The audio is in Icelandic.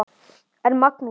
En Magnús